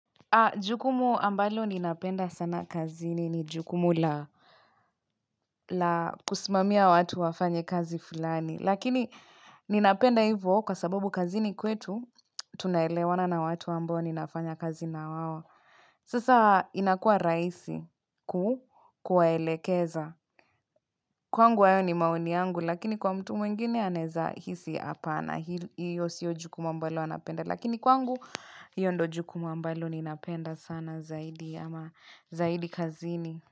Jukumu ambalo ninapenda sana kazini ni jukumu la la kusimamia watu wafanye kazi fulani. Lakini ninapenda hivo kwa sababu kazini kwetu tunaelewana na watu ambao ninafanya kazi na wao. Sasa inakua raisi ku kuwaelekeza. Kwangu hayo ni maoni yangu lakini kwa mtu mwingine anaeza hisi apana. Hio sio jukumu ambalo anapenda. Lakini kwangu hio ndo jukumu ambalo ninapenda sana zaidi. Ama zaidi kazini.